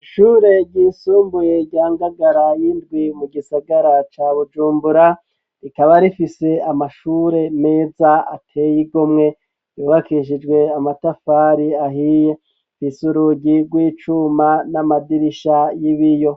Ishure ryisumbuye rya Ngagara y'indwi mu gisagara ca Bujumbura rikaba rifise amashure meza ateye igomwe yubakishijwe amatafari ahiye afise urugi rw'icuma n'amadirisha y'ibiyo.